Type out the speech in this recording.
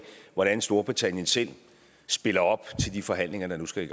hvordan storbritannien selv spiller op til de forhandlinger der nu skal